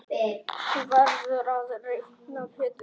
Þú verður að reikna Pétur.